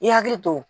I hakili to